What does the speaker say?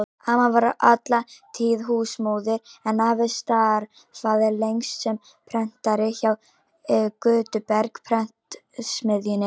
Amma var alla tíð húsmóðir en afi starfaði lengst sem prentari hjá Gutenberg-prentsmiðjunni.